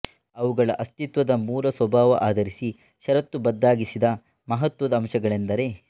ಅವುಗಳ ಅಸ್ತಿತ್ವದ ಮೂಲ ಸ್ವಭಾವ ಆಧರಿಸಿ ಷರತ್ತುಬದ್ದಾಗಿಸಿದ್ದ ಮಹತ್ವದ ಅಂಶಗಳೆಂದರೆ